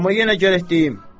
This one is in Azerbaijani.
Amma yenə gərək deyim.